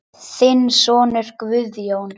Þinn sonur Guðjón.